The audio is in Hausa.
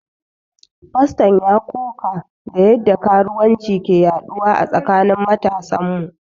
Faston ya ƙoƙa da yadda karuwanci ke yaduwa a tsakanin matasan mu.